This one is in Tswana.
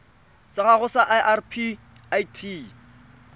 sa gago sa irp it